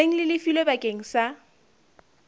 seng le lefilwe bakeng sa